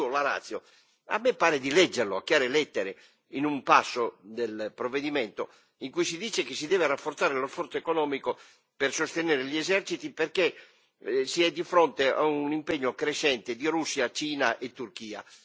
Il motivo a me pare di leggerlo a chiare lettere in un passo del provvedimento, in cui si dice che si deve rafforzare lo sforzo economico per sostenere gli eserciti, perché si è di fronte a un impegno crescente di Russia, Cina e Turchia.